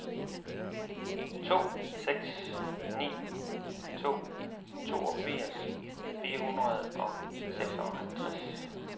to seks ni to toogfirs fire hundrede og seksoghalvtreds